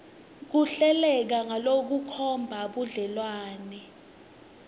kuhleleke ngalokukhomba budlelwane